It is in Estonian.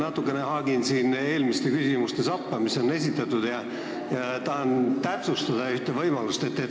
Ma natuke haagin end eelmiste küsimuste sappa, mis esitati: tahan ühte võimalust täpsustada.